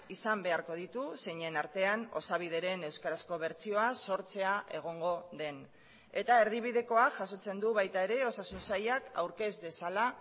izan beharko ditu zeinen artean osabideren euskarazko bertsioa sortzea egongo den eta erdibidekoa jasotzen du baita ere osasun sailak aurkez dezala